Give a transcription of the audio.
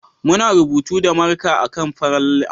Muna rubutu da marka a kan farar allo.